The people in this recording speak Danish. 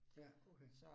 Ja, okay